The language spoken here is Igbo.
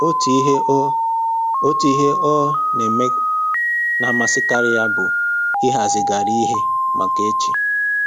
Otu ihe ọ Otu ihe ọ na-eme na-amasịkarị ya bụ ịhazigharị ihe maka echi